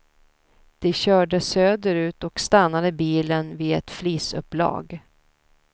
De körde söderut och stannade bilen vid ett flisupplag.